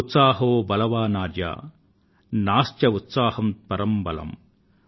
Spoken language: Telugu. ఉత్సాహో బలవానార్య నాస్త్యుత్సాహాత్పరమ్ బలమ్